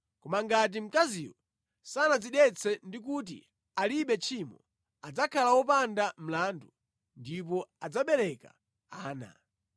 Koma ngati mkaziyo sanadzidetse ndi kuti alibe tchimo, adzakhala wopanda mlandu ndipo adzabereka ana.